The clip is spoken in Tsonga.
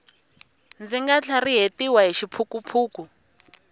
ndzi nga tlharihetiwi hi xiphukuphuku